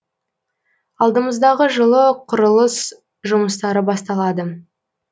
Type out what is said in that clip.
алдымыздағы жылы құрылыс жұмыстары басталады